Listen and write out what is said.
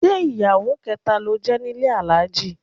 Ṣé ìyàwó kẹta ló jẹ́ nílé Alhaji?